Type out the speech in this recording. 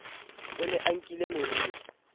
o ne a nkile moriri